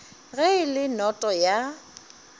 ge e le noto ya